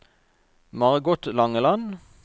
Margot Langeland